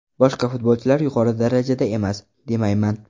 Boshqa futbolchilar yuqori darajada emas, demayman.